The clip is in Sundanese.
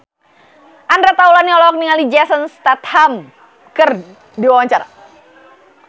Andre Taulany olohok ningali Jason Statham keur diwawancara